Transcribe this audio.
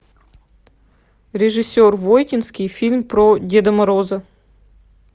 режиссер войтинский фильм про деда мороза